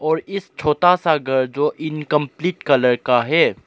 और इस छोटा सा घर जो इनकंप्लीट कलर का है।